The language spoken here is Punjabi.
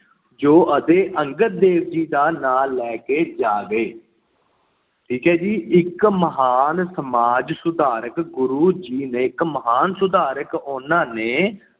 ਜੋ ਉਦੋਂ ਗੁਰੂ ਅੰਗਦ ਦੇਵ ਜੀ ਦਾ ਨਾਂ ਲੈ ਕੇ ਜਾਏ ਗਏ। ਠੀਕ ਹੈ ਜੀ, ਇੱਕ ਮਹਾਨ ਸਮਾਜ-ਸੁਧਾਰਕ ਗੁਰੂ ਜੀ ਨੇ ਇੱਕ ਮਹਾਨ ਸੁਧਾਰਕ। ਉਹਨਾਂ ਨੇ